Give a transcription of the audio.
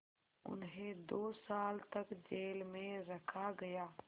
उन्हें दो साल तक जेल में रखा गया